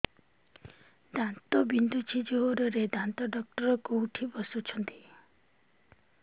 ଦାନ୍ତ ବିନ୍ଧୁଛି ଜୋରରେ ଦାନ୍ତ ଡକ୍ଟର କୋଉଠି ବସୁଛନ୍ତି